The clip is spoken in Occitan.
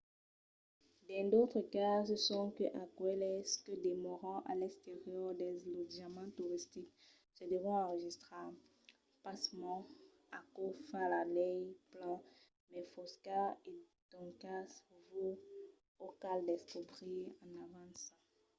dins d’autres cases sonque aqueles que demòran a l'exterior dels lotjaments toristics se devon enregistrar. pasmens aquò fa la lei plan mai fosca e doncas vos o cal descobrir en avança